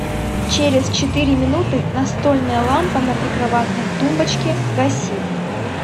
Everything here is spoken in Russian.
через четыре минуты настольная лампа на прикроватной тумбочке гаси